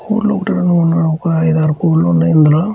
కోళ్ళు ఒక రెండు మూడు నాలుగు ఒక ఐదు ఆరు కోళ్ళు ఉన్నాయి ఇందులో.